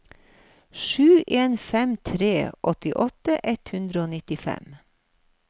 sju en fem tre åttiåtte ett hundre og nittifem